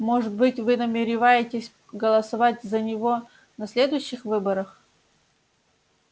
может быть вы намереваетесь голосовать за него на следующих выборах